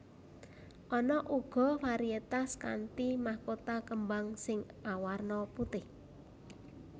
Ana uga varietas kanthi mahkota kembang sing awarna putih